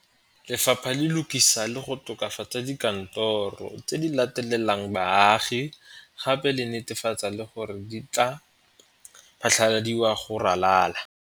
Lefapha le lokisa le go tokafa tsa dikantoro tse di latelelang baagi gape le netefatsa gore di tla phatlaladiwa go ralala.